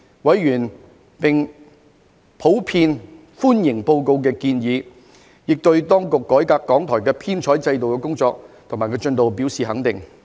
委員普遍歡迎報告的建議，亦對當局改革港台編採機制的工作及進度表示肯定。